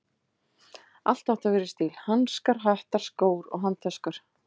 Allt átti að vera í stíl: hanskar, hattar, skór og handtöskur.